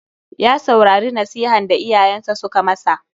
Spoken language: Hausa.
Ya saurari nasihan da iyayensa suka ma sa.